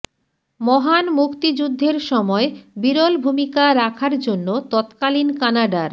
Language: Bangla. মহান মুক্তিযুদ্ধের সময় বিরল ভূমিকা রাখার জন্য তৎকালীন কানাডার